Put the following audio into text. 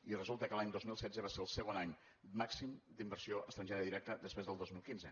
i resulta que l’any dos mil setze va ser el segon any màxim d’inversió estrangera directa després del dos mil quinze